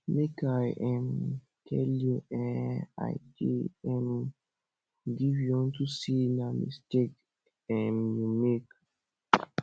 make i um tell you um i dey um give you unto say na mistake um you make